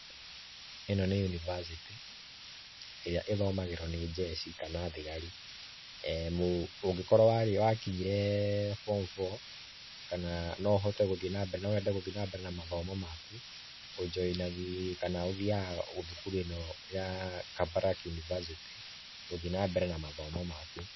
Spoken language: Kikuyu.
ĩno nĩ yunibacĩtĩ, ĩrĩa ĩthomagĩrwo nĩ jeshi kana thigari. Ongĩkorwo wakinyire form four, kana no wende gũthiĩ na mbere na mathomo maku, ũthiaga thukuru ino ya Kabarak University gũthiĩ na mbere na mathomo maku.